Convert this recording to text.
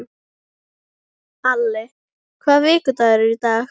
Ali, hvaða vikudagur er í dag?